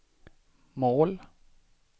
mål